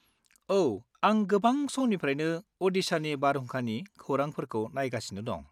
-औ, आं गोबां समनिफ्रायनो अडिशानि बारहुंखानि खौरांफोरखौ नायगासिनो दं।